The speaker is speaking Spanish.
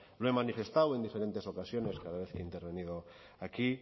lo he manifestado en diferentes ocasiones cada vez que he intervenido aquí